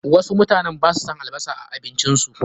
Wasu mutane basu son albasar a abincin su.